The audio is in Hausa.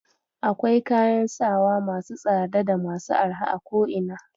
Akwai kayan sawa masu tsada da masu arha a ko ina.